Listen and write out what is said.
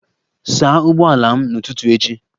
Saa ụgbọala m n'ụtụtụ echi!